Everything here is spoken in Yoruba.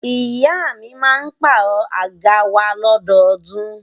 Ìyá mi máa pàrọ̀ àga wa lọ́dọọdún.